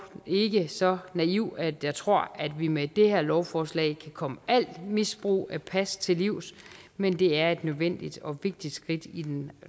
ikke så naiv at jeg tror at vi med det her lovforslag kan komme al form misbrug af pas til livs men det er et nødvendigt og vigtigt skridt i den